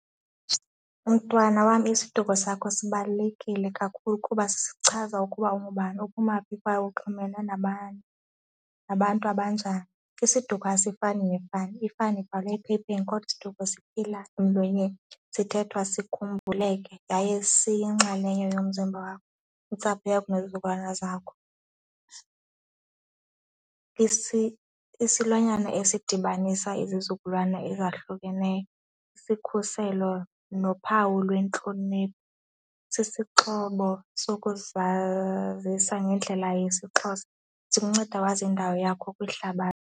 Mntwana wam, isiduko sakho sibalulekile kakhulu kuba sisichaza ukuba ungubani, uphuma phi, kwaye uxhumene nabani, nabantu abanjani. Isiduko asifani nefani, ifani ibhalwe ephepheni kodwa isiduko siphila emlonyeni, sithethwa sikhumbuleke yaye siyiyinxalenye yomzimba wakho, intsapho yakho nezizukulwana zakho. Isilwanyana esidibanisa izizukulwana ezahlukeneyo, sikhuselo nophawu lwentlonipho, sisixhobo sokuzazisa ngendlela yesiXhosa, sikunceda wazi indawo yakho kwihlabathi.